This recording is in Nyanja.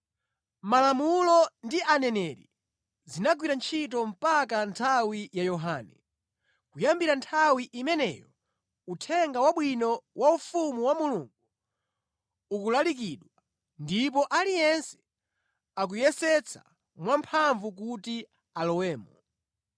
“Malamulo ndi Aneneri zinagwira ntchito mpaka nthawi ya Yohane. Kuyambira nthawi imeneyo, Uthenga Wabwino wa ufumu wa Mulungu ukulalikidwa, ndipo aliyense akuyesetsa mwamphamvu kuti alowemo.